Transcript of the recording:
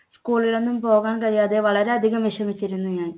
school ൽ ഒന്നും പോകാൻ കഴിയാതെ വളരെയധികം വിഷമിച്ചിരുന്നു ഞാൻ